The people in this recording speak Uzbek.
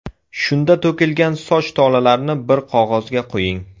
Shunda to‘kilgan soch tolalarini bir qog‘ozga qo‘ying.